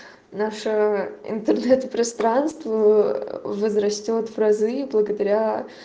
наше интернет-пространство возрастёт в разы благодаря